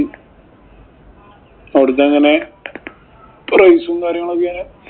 അവിടത്തെ എങ്ങനെ? price ഉം കാര്യങ്ങളും ഒക്കെ